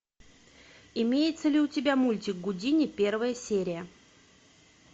имеется ли у тебя мультик гудини первая серия